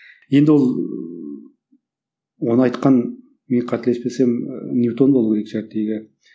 енді ол оны айтқан мен қателеспесем ы ньютон болу керек